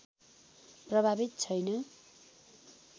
प्रभावित छैन